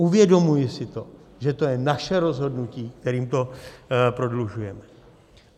Uvědomuji si to, že to je naše rozhodnutí, kterým to prodlužujeme.